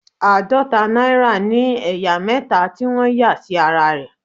Àádọta náírà ní ẹ̀yà mẹta tí wọ́n yà sí ara rẹ̀.